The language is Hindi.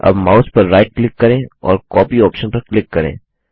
अब माउस पर राइट क्लिक करें और कॉपी कॉपी ऑप्शन पर क्लिक करें